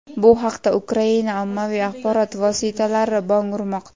Bu haqda Ukraina ommaviy axborot vositalari bong urmoqda.